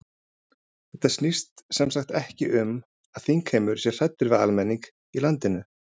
Þetta snýst sem sagt ekki um það að þingheimur sé hræddur við almenning í landinu?